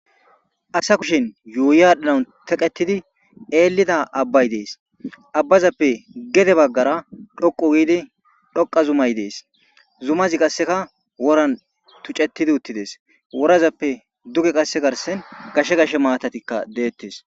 Asa kushen yuuyaadhdhanan teqetidi eellida abbay dees abbazappe gede baggara dhoqu giidi dhoqa zumay dees zumazi qasseka woran tucetidi uttides worazappe duge qasse garsen gashe gash maatatikka deettes